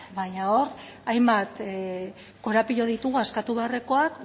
baina hor hainbat korapilo ditugu askatu beharrekoak